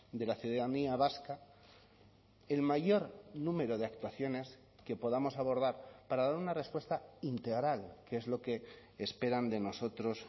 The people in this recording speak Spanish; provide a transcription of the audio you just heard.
de la ciudadanía vasca el mayor número de actuaciones que podamos abordar para dar una respuesta integral que es lo que esperan de nosotros